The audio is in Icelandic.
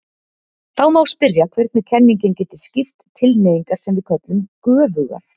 Þá má spyrja hvernig kenningin geti skýrt tilhneigingar sem við köllum göfugar?